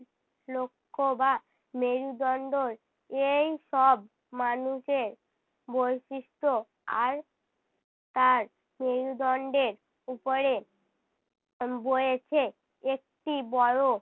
লক্ষ্য বা মেরুদণ্ডর এই সব মানুষের বৈশিষ্ট আর তার মেরুদণ্ডের উপরে উহ বয়েছে একটি বড়ো